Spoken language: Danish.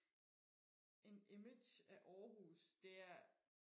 en image af Aarhus det er